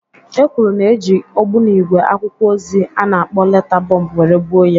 E kwuru na-e ji ogbunigwe akwụkwọ ozi a na-akpọ leta bomb were gbuo ya.